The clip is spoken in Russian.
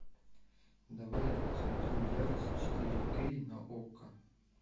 давай я посмотрю ярость четыре кей на окко